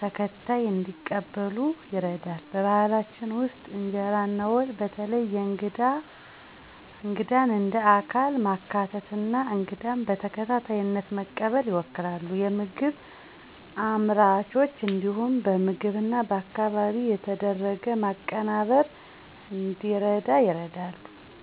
ተከታይ እንዲቀበሉ ይረዳል። በባህላችን ውስጥ ኢንጀራ እና ወጥ በተለይ የእንግዳን እንደ አካል ማካተት እና እንግዳን በተከታይነት መቀበል ይወክላሉ። የምግብ አምራቾች እንዲሁም በምግብ እና በአካባቢ የተደረገ ማቀናበር እንዲረዳ ይረዳሉ።